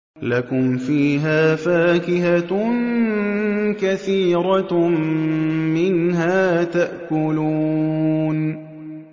لَكُمْ فِيهَا فَاكِهَةٌ كَثِيرَةٌ مِّنْهَا تَأْكُلُونَ